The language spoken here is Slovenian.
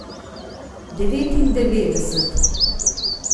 Devetindevetdeset.